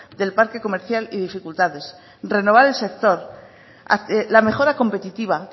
del parque comercial y dificultades renovar el sector la mejora competitiva